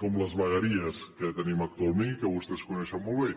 com les vegueries que tenim actualment i que vostès coneixen molt bé